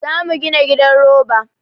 Za mu gina gidan roba.